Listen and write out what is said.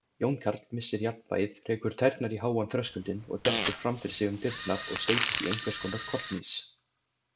Jón Karl missir jafnvægið, rekur tærnar í háan þröskuldinn og dettur fram fyrir sig inn um dyrnar og steypist í einhvers konar kollhnís.